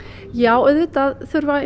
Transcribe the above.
já auðvitað þurfa